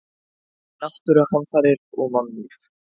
Náttúruhamfarir og mannlíf.